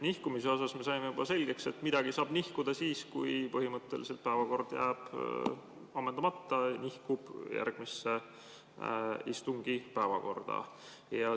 Nihkumise osas me saime selgeks, et kui põhimõtteliselt päevakord jääb ammendamata, siis see nihkub järgmise istungi päevakorda.